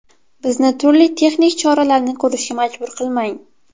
Bizni turli texnik choralarni ko‘rishga majbur qilmang.